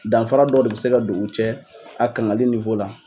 Danfara dɔ de bɛ se ka don u cɛ a kangali la